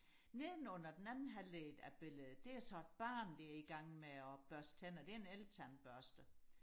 nedenunder den anden halvdel af billedet det er så et barn der er i gang med og børste tænder det er en eltandbørste